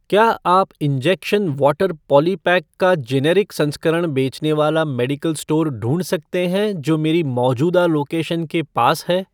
क्या आप injection water polypack का जेनेरिक संस्करण बेचने वाला मेडिकल स्टोर ढूँढ सकते हैं जो मेरी मौजूदा लोकेशन के पास है?